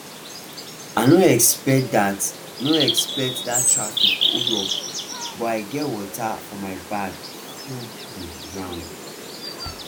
i no expect that no expect that traffic holdup but i get water for my bag full um ground